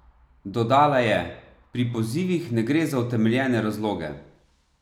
Dodala je: "Pri pozivih ne gre za utemeljene razloge.